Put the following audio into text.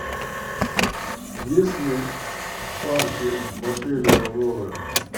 есть ли парки в отеле аврора